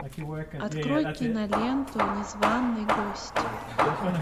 открой киноленту незваный гость